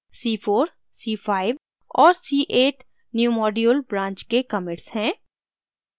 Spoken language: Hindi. c4 c5 और c8 newmodule branch के commits हैं